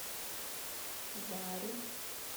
зарю